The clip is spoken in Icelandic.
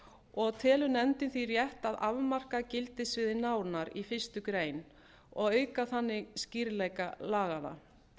og telur nefndin því rétt að afmarka gildissviðið nánar í fyrstu grein og auka þannig skýrleika laganna